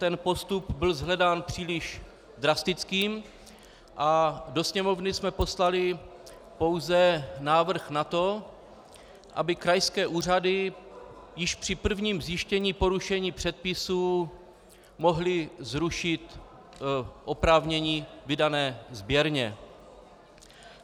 Ten postup byl shledán příliš drastickým a do Sněmovny jsme poslali pouze návrh na to, aby krajské úřady již při prvním zjištění porušení předpisů mohly zrušit oprávnění vydané sběrně.